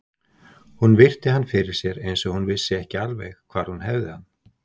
Hún virti hann fyrir sér eins og hún vissi ekki alveg hvar hún hefði hann.